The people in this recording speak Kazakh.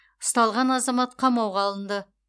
ұсталған азамат қамауға алынды